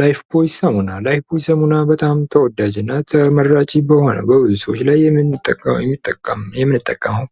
ላይፍቦይ ሳሙና ላይፍቦይ ሳሙና በጣም ተወዳጅ እና ተመርጭ የሆነ በብዙ ሰዎች ላይ የምንጠቀመው